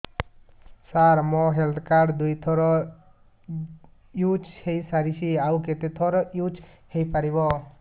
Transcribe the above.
ସାର ମୋ health card ଦୁଇ ଥର ୟୁଜ଼ ହୈ ସାରିଛି ଆଉ କେତେ ଥର ୟୁଜ଼ ହୈ ପାରିବ